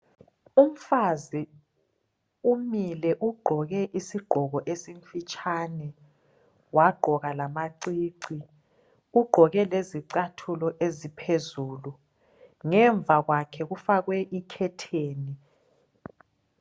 Umfazi umile ugqoke isigqoko esifitshane wagqoka lamacici .Ugqoke lezicathulo eziphezulu .Ngemva kwakhe kufakwe ikhetheni .